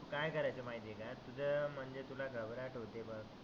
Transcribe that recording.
काय करायचं माहिती आहे का तुझं म्हणजे तुला घबराट होते बघ